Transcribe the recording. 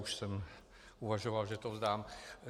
Už jsem uvažoval, že to vzdám.